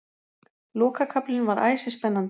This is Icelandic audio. Lokakaflinn var æsispennandi